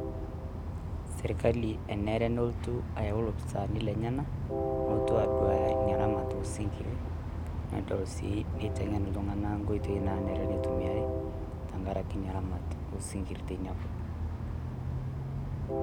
serkali enare nelotu ayauu loopisani leyenak neponu aduaya inaa ramat osinkiri nedol sii niteng'en sii iltung'anak nkoitoi tenkaraki ramat osinkiri tinakop